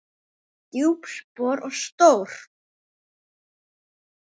Djúp spor og stór.